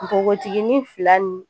Nbogotikinin fila nin